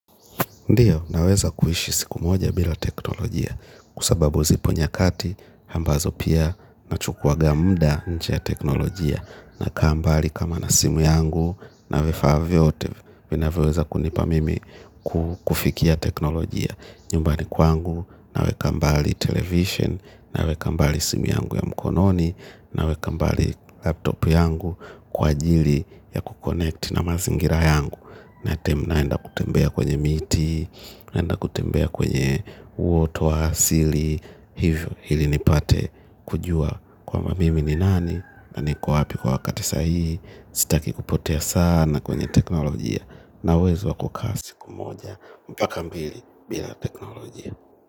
Ndio naweza kuishi siku moja bila teknolojia kwa sababu zipo nyakati ambazo pia nachukuaga muda nje ya teknolojia na kaa mbali kama na simu yangu na vifaa vyote vinaweweza kunipa mimi kufikia teknolojia. Nyumbani kwangu, naweka mbali television, naweka mbali simi yangu ya mkononi, nawekambali laptop yangu kwa ajili ya kuconnect na mazingira yangu, na time yenye naenda kutembea kwenye miti naenda kutembea kwenye huoto wa asili hivyo ili nipate kujua kwamba mimi ni nani na niko wapi kwa wakati sahihi sitaki kupotea sana kwenye teknolojia na uwezo wa kaa siku moja mpaka mbii bila teknolojia.